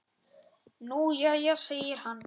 Nú jæja segir hann.